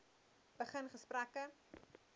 begin gesprekke